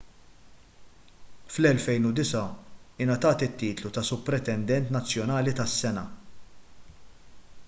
fl-2009 ingħatat it-titlu ta' supretendent nazzjonali tas-sena